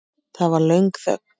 Það varð löng þögn.